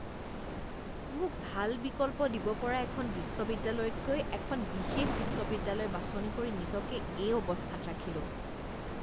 মোক ভাল বিকল্প দিব পৰা এখন বিশ্ববিদ্যালয়তকৈ এখন বিশেষ বিশ্ববিদ্যালয় বাছনি কৰি নিজকে এই অৱস্থাত ৰাখিলোঁ।